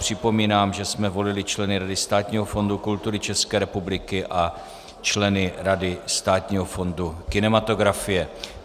Připomínám, že jsme volili členy Rady Státního fondu kultury České republiky a členy Rady Státního fondu kinematografie.